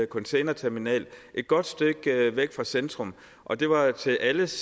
containerterminal et godt stykke væk fra centrum og det var til alles